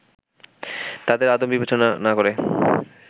তাদের আদম বিবেচনা না করে